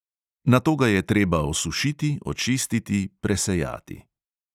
Nato ga je treba osušiti, očistiti, presejati.